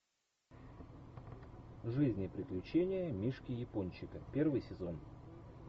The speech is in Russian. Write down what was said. жизнь и приключения мишки япончика первый сезон